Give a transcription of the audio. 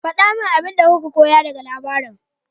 Faɗa mini abin da kuka koya daga labarin.